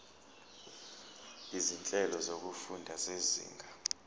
izinhlelo zokufunda zezinga